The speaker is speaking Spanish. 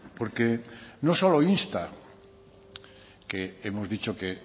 porque no solo insta que hemos dicho que